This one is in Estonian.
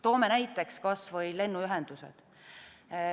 Toome näiteks kas või lennuühendused.